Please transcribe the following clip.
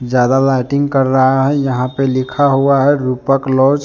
ज्यादा लाइटिंग कर रहा है यहां पे लिखा हुआ है रूपक लॉज ।